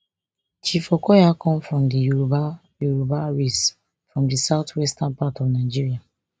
chief okoya come from di yoruba yoruba race from di southwestern part of nigeria